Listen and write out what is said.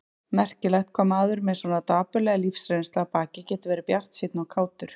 Merkilegt hvað maður með svona dapurlega lífsreynslu að baki getur verið bjartsýnn og kátur.